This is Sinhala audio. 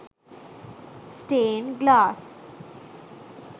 stain glass